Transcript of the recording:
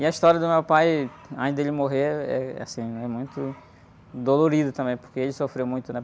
E a história do meu pai, antes ele morrer, é, eh, assim, é muito dolorido também, porque ele sofreu muito, né?